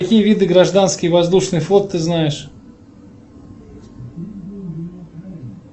какие виды гражданский воздушный флот ты знаешь